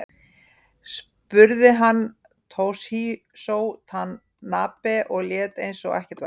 Spruði hann Toshizo Tanabe og lét eins og ekkert væri.